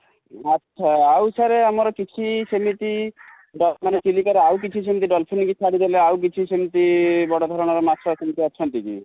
ଆଛା ଆଉ sir ଆମର କିଛି ସେମିତି ବା ଚିଲିକା ରେ ଆଉ ସେମିତି dolphin କି ଛାଡିଦେଲେ ଆଉ କିଛି ସେମିତି ବଡ଼ଧରଣ ର ମାଛ ଅଛନ୍ତି କି?